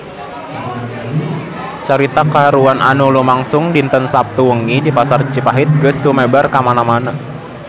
Carita kahuruan anu lumangsung dinten Saptu wengi di Pasar Cihapit geus sumebar kamana-mana